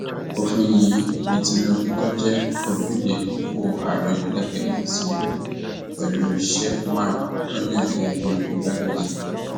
òfin yìí ni tinubu tó jẹ olùdíje dupò ààrẹ lẹgbẹ [csapc lù pẹlú sheffman tó yan gẹgẹ bíi igbákejì